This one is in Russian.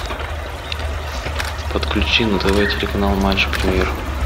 подключи на тв телеканал матч премьер